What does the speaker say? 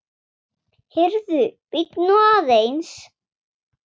Heyrðu, bíddu nú aðeins!